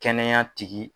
Kɛnɛya tigi